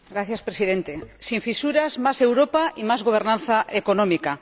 Señor Presidente, sin fisuras, más Europa y más gobernanza económica.